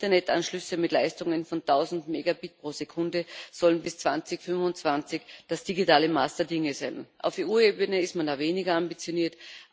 Internetanschlüsse mit Leistungen von 1000 Megabit pro Sekunde sollen bis 2025 das digitale Maß der Dinge sein. Auf EU Ebene ist man da weniger ambitioniert.